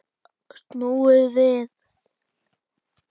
Snúið við.